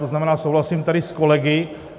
To znamená, souhlasím tady s kolegy.